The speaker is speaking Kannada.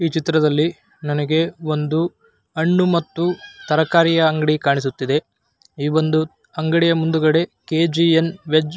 ಈ ಚಿತ್ರದಲ್ಲಿ ನನಗೆ ಒಂದು ಹಣ್ಣು ಮತ್ತು ತರಕಾರಿ ಅಂಗಡಿ ಕಾಣಿಸುತ್ತಿದೆ. ಈ ವೊಂದು ಅಂಗಡಿಯ ಮುಂದುಗಡೆ ಕೆ.ಜಿ.ಎನ್ ವೆಜ್ --